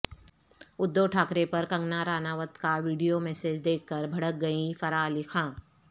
ادھو ٹھاکرے پر کنگنا رانوت کا video message دیکھ کر بھڑک گئیں فرح علی خان